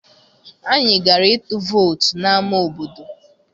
Anyị gara ịtụ vootu n'ámá obodo.